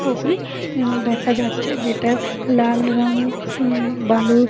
ছবি উম দেখা যাচ্ছে জেতার লাল রঙের উম বালুর--